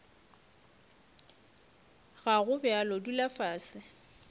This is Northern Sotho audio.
ga go bjalo dula fase